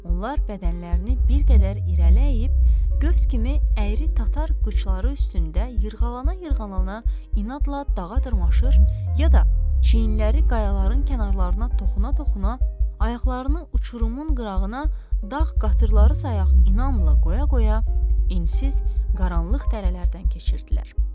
Onlar bədənlərini bir qədər irəliləyib, qövs kimi əyri tatar qıçları üstündə yırğalana-yırğalana inadla dağa dırmaşır, ya da çiyinləri qayaların kənarlarına toxuna-toxuna ayaqlarını uçurumun qırağına dağ qatırları sayaq inamla qoya-qoya ensiz, qaranlıq dərələrdən keçirdilər.